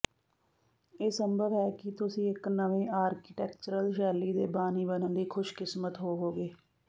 ਇਹ ਸੰਭਵ ਹੈ ਕਿ ਤੁਸੀਂ ਇੱਕ ਨਵੇਂ ਆਰਕੀਟੈਕਚਰਲ ਸ਼ੈਲੀ ਦੇ ਬਾਨੀ ਬਣਨ ਲਈ ਖੁਸ਼ਕਿਸਮਤ ਹੋਵੋਗੇ